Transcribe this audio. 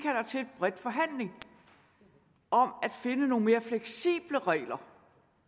bred forhandling om at finde nogle mere fleksible regler